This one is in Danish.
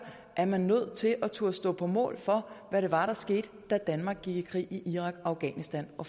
er nødt til at turde stå på mål for hvad det var der skete da danmark gik i krig i irak og afghanistan og